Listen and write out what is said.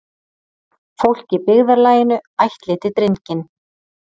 Fólk í byggðarlaginu ættleiddi drenginn.